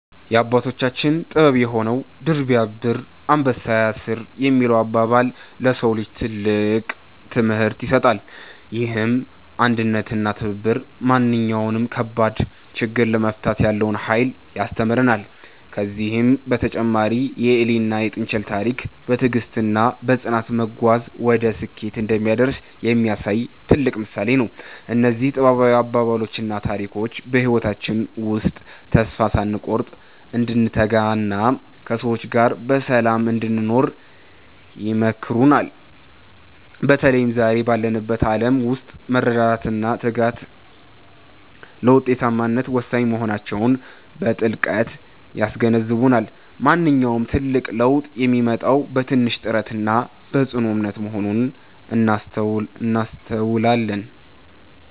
የአባቶቻችን ጥበብ የሆነው "ድር ቢያብር አንበሳ ያስር" የሚለው አባባል፣ ለሰው ልጅ ትልቅ ትምህርት ይሰጣል። ይህም አንድነትና ትብብር ማንኛውንም ከባድ ችግር ለመፍታት ያለውን ኃይል ያስተምረናል። ከዚህም በተጨማሪ የኤሊና የጥንቸል ታሪክ፣ በትዕግስትና በጽናት መጓዝ ወደ ስኬት እንደሚያደርስ የሚያሳይ ትልቅ ምሳሌ ነው። እነዚህ ጥበባዊ አባባሎችና ታሪኮች በህይወታችን ውስጥ ተስፋ ሳንቆርጥ እንድንተጋና ከሰዎች ጋር በሰላም እንድንኖር ይመክሩናል። በተለይም ዛሬ ባለንበት ዓለም ውስጥ መረዳዳትና ትጋት ለውጤታማነት ወሳኝ መሆናቸውን በጥልቀት ያስገነዝቡናል። ማንኛውም ትልቅ ለውጥ የሚመጣው በትንሽ ጥረትና በጽኑ እምነት መሆኑን እናስተውላለን።